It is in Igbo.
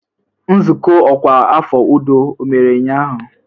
Nzukọ ọkwa afọ udo ọ mere ụnyahụ?